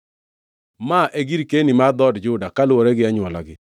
Ma e girkeni mar dhood Juda, kaluwore gi anywolagi.